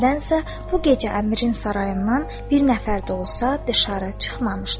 Nədənsə, bu gecə Əmirin sarayından bir nəfər də olsa, dışarı çıxmamışdı.